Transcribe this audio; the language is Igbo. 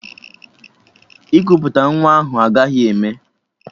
Ikuputa nwa ahụ agaghị eme!